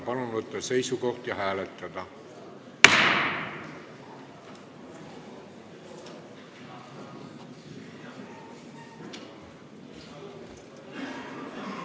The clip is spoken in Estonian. Palun võtta seisukoht ja hääletada!